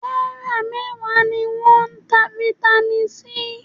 Náírà mẹ́wàá ni wọ́n ń ta Vitamin C